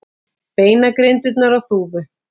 Beinagrindurnar á Þúfu.